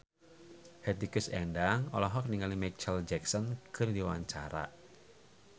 Hetty Koes Endang olohok ningali Micheal Jackson keur diwawancara